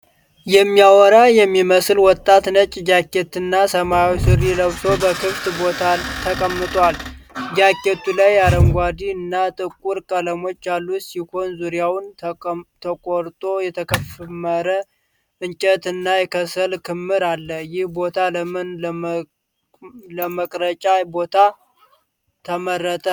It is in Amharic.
የሚያወራ የሚመስል ወጣት ነጭ ጃኬት እና ሰማያዊ ሱሪ ለብሶ በክፍት ቦታ ተቀምጧል። ጃኬቱ ላይ አረንጓዴ እና ጥቁር ቀለሞች ያሉት ሲሆን፣ ዙሪያው ተቆርጦ የተከመረ እንጨት እና የከሰል ክምር አለ። ይህ ቦታ ለምን ለመቅረጫ ቦታ ተመረጠ?